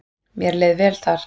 Mér leið vel þar.